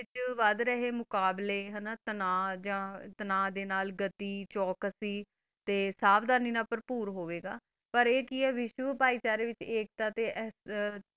ਜੋ ਵਾਥ ਰਹਾ ਮੋਕਾਬਲਾ ਸਨ ਦਾ ਨਾਲ ਅਠੀ ਸੀ ਚੋਕਸੀ ਤਾ ਸ੍ਸਾਬ ਜਾਦਾ ਨਾਲ ਪਰ੍ਪੋਰ ਹੋਵਾ ਦਾ ਪਰ ਆ ਕੀ ਆ ਓਰ ਬਹਿਚਾਰਾ ਦਾ ਆ ਹ ਤਾ ਆਸ